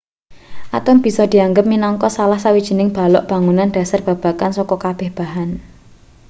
atom bisa dianggep minangka salah sawijining balok bangunan dhasar babagan saka kabeh bahan